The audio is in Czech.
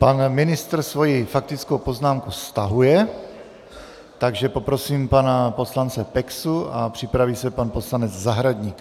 Pan ministr svoji faktickou poznámku stahuje, takže poprosím pana poslance Peksu a připraví se pan poslanec Zahradník.